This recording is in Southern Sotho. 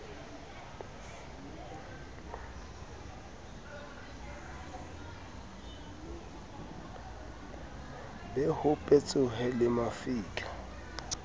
be ho petsohe le mafika